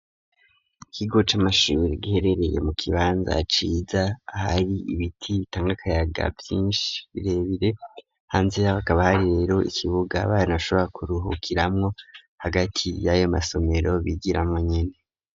Iguca c'amashure giherereye mu kibanza ciza ahari ibiti bitangakayaga vyinshi birebire hanze bakavyo rero ikibuga abana bashobora kuruhukiramwo hagati y'ayo masomero bigiramo nyine.